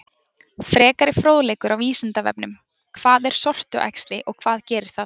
Frekari fróðleikur á Vísindavefnum: Hvað er sortuæxli og hvað gerir það?